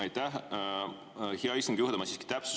Aitäh, hea istungi juhataja!